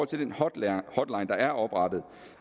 til den hotline der er oprettet